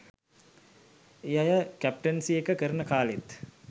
ඒ අය කැප්ටන්සි එක කරන කාලෙත්